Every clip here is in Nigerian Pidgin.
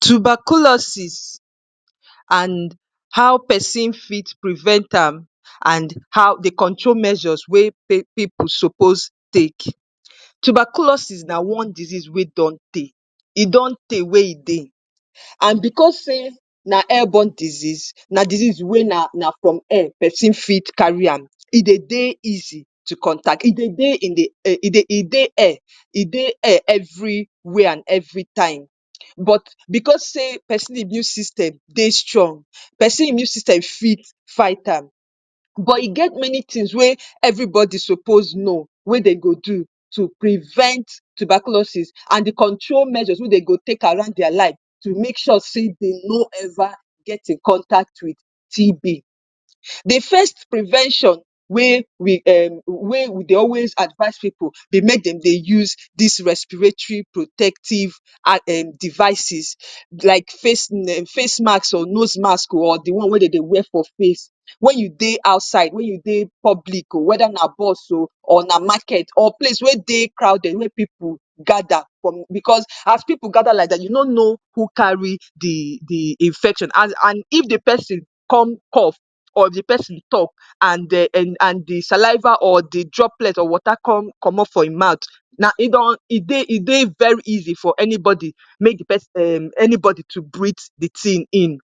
Tuberculosis and how pesin fit prevent am and how the control measures wey people suppose take. Tuberculosis na one disease wey don tey. E don tey wey e dey. And because sey na airborne disease, na disease wey na na from air pesin fit carry am. E dey dey easy to contact. E dey dey in the e e dey air. E dey air everywhere and every time. But because sey pesin immune system dey strong, pesin immune system fit fight am. But e get many things wey everybody suppose know wey de go do to prevent tuberculosis and the control measures wey de go take around their life to make sure they no ever get in contact with TB. The first prevention wey we um wey we dey always advise pipu dey make dem dey use des respiratory protective um devices like face face masks or nose masks or the one wey de dey wear for face. When you dey outside, when you dey public oh, whether na bus oh or na market or place wey dey crowded, wey pipu gather from because as pipu gather like dat, you no know who carry the the infection. And and if the pesin con cough or if the pesin talk and the um and the saliva or the droplet of water con comot from e mouth, na e don e dey e dey very easy for anybody make the pesin um anybody to breathe the thing in.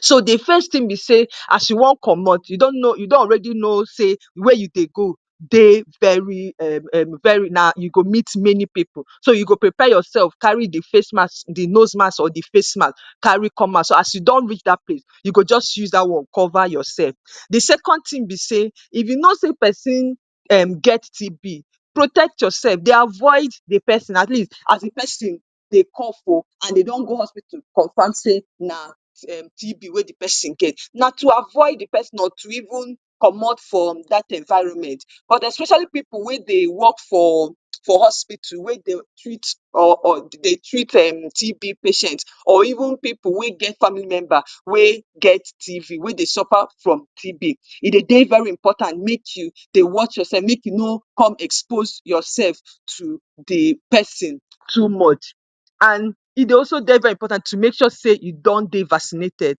So the first thing be sey, as you wan comot, you don know, you don already know sey where you dey go dey very um um very na you go meet many pipu. So you go prepare yourself, carry the face mask, the nose mask or the face mask carry come out. So as you don reach dat place, you go just use dat one cover yourself. The second thing be sey, if you know sey person um get TB, protect yourself. Dey avoid the pesin, at least as the pesin dey cough oh and they don go hospital confirm sey na um TB wey the pesin get. Na to avoid the pesin or to even comot from dat environment. But especially pipu wey dey work for for hospital, wey dey treat or or dey treat um TB patients or even pipu wey get family member wey get TB, wey dey suffer from TB. E dey dey very important make you dey watch yourself, make you co con expose yourself to the pesin too much. And e dey also dey very important to make sure sey e don dey vaccinated.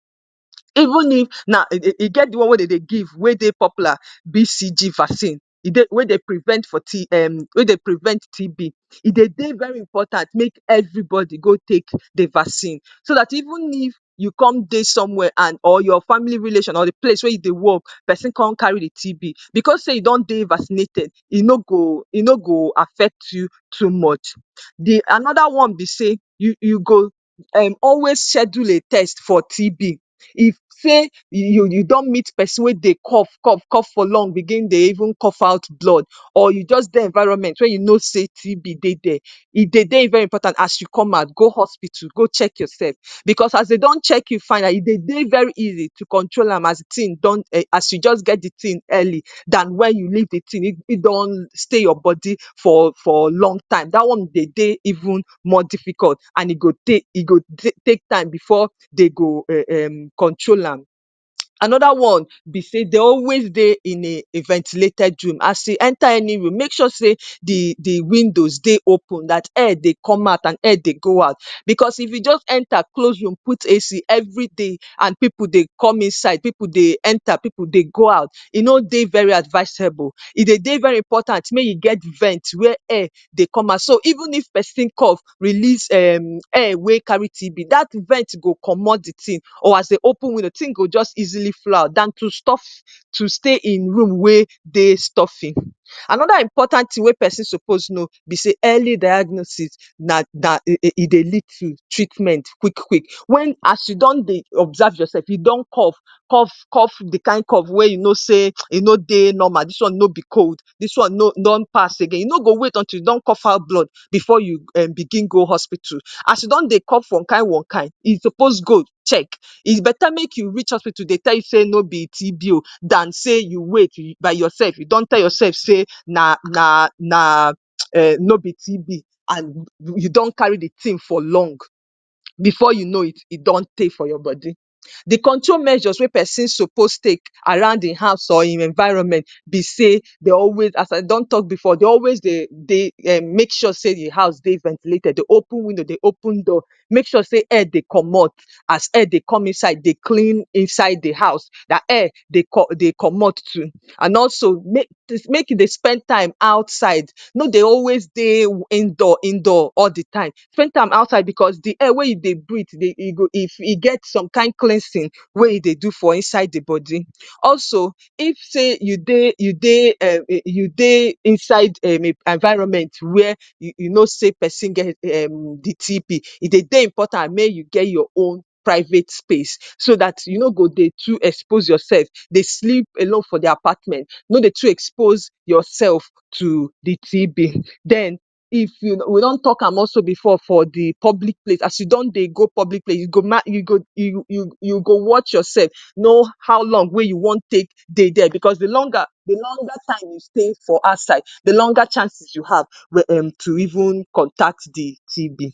Even if na e dey e get the one wey de dey give, wey dey popular BCG vaccine, e dey wey dey prevent for wey dey prevent TB. E dey dey very important make everybody go take the vaccine. So dat even if you come dey somewhere and or your family relation or the place wey you dey work, pesin con carry the TB because sey you don dey vaccinated, e no go e no go affect you too much. The another one be sey, you you go um always schedule a test for TB. If sey you you don meet pesin wey dey cough cough cough for long, begin dey even cough out blood or you just dey environment wey you know sey TB dey dere, e dey dey very important as you come out, go hospital, go check yourself. Because as they don check you find out, e dey dey very easy to control am as the thing don um as you just get the thing early dan when you leave the thing e e don stay your body for for long time. Dat one dey dey even more difficult and e go tey e go take time before they go um control am. Another one be sey they are always dey in a ventilated room. As you enter any room, make sure sey the the windows dey open, dat air dey come out and air dey go out. Because if you just enter close room, put AC every day and pipu dey come inside, pipu dey enter, pipu dey go out, e no dey very advisable. E dey dey very important make you get vents where air dey come out. So even if pesin cough, release um air wey carry TB. Dat vent go comot the thing. Or as they open window, the thing go just easily flow out dan to stop to stay in room wey dey stuffy. Another important thing wey pesin suppose know be sey early diagnosis na dat e e dey lead to treatment quick quick. When as you don dey observe yourself. You don cough. Cough cough the kind of cough wey you know sey e no dey normal. Dis one no be cold. Dis one no be don pass again. You no go wait until you don cough out blood before you um begin go hospital. As you don dey cough one kind, one kind, you suppose go check. E better make you reach hospital they tell you no TB oh dan sey you wait by yourself. You don tell yourself sey na na na um [hiss] no be TB. And you don carry the thing for long. Before you know it, e don tey for your body. The control measures wey pesinn suppose take around e house or e environment be sey, they always, as I don talk before, they always dey dey make sure sey the house dey ventilated. Dey open window, dey open door. Make sure sey air dey comot. As air dey come inside, dey clean inside the house, dat air dey dey comot too. And also make make you dey spend time outside. No dey always dey indoor indoor all the time. Spend time outside because the air wey you dey breathe dey e go if e get some kind cleansing wey e dey do for inside the body. Also, if sey you dey you dey um you dey inside um environment where you know sey person get um the TB, e dey dey important make you get your own private space. So dat you no go dey too expose yourself. Dey sleep alone for the apartment. No dey too expose yourself to the TB. Den if you we don talk am also before for the public place. As you don dey go public place, you go now you go you you go watch yourself, know how long wey you wan take dey dere. Because the longer the longer time you stay outside, the longer chances you have um to even contact the TB.